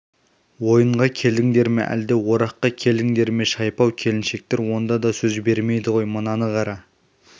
ойынға келдіңдер ме әлде ораққа келдіңдер ме шайпау келіншектер онда да сөз бермейді ғой мынаны қара